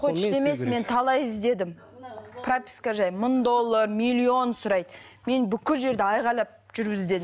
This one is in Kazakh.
мен талай іздедім прописка жайлы мың долар миллион сұрайды мен бүкіл жерді айқайлап жүріп іздедім